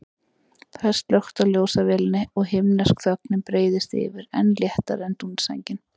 Það er slökkt á ljósavélinni og himnesk þögnin breiðist yfir, enn léttari en dúnsængin.